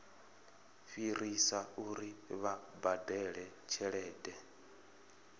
fhirisa uri vha badele tshelede